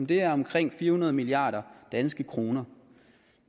det er omkring fire hundrede milliard danske kroner